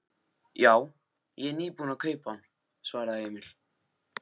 Já, ég er nýbúinn að kaupa hann, svaraði Emil.